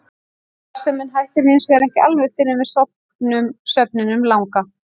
Starfsemin hættir hins vegar ekki alveg fyrr en við sofnum svefninum langa.